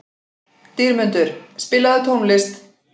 Dýrmundur, spilaðu tónlist.